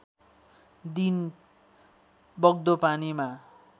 दिन बग्दो पानीमा